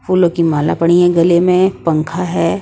फूलों की माला पड़ी हैं गले में पंखा हैं।